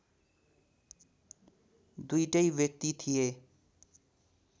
दुईटै व्यक्ति थिए